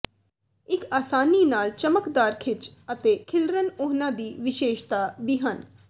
ਇਕ ਆਸਾਨੀ ਨਾਲ ਚਮਕਦਾਰ ਖਿੱਚ ਅਤੇ ਖਿਲਰਨ ਉਹਨਾਂ ਦੀ ਵਿਸ਼ੇਸ਼ਤਾ ਵੀ ਹਨ